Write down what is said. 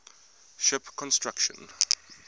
ship construction